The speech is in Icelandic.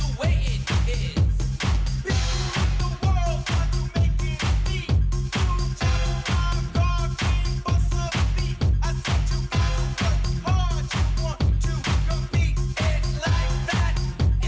við